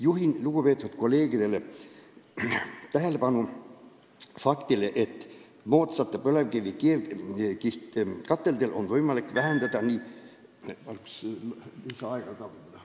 Juhin lugupeetud kolleegide tähelepanu faktile, et moodsate põlevkivi keevkihtkateldega on võimalik tunduvalt vähendada nii ...